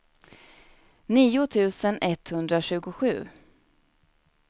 nio tusen etthundratjugosju